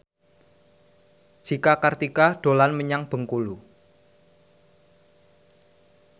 Cika Kartika dolan menyang Bengkulu